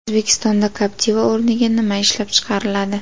O‘zbekistonda Captiva o‘rniga nima ishlab chiqariladi?.